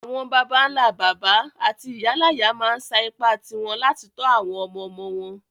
Àwon bàbánlá-bàbá áti ìyáláyá ma n sa ipá ti won láti to àwon ọmọ-ọmọ won